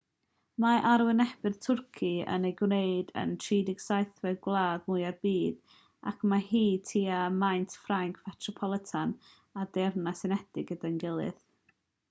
mae arwynebedd twrci yn ei gwneud yn 37fed gwlad mwya'r byd ac mae hi tua maint ffrainc fetropolitan a'r deyrnas unedig gyda'i gilydd